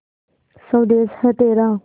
स्वदेस है तेरा